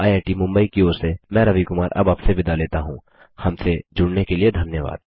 IIT Mumbai की ओर से मैं रवि कुमार अब आपसे विदा लेता हूँहमसे जुड़ने के लिए धन्यवाद